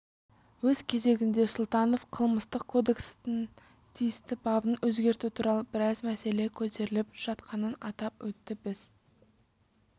өз кезегінде сұлтанов қылмыстық кодекстің тиісті бабын өзгерту туралы біраз мәселе көтеріліп жатқанын атап өтті біз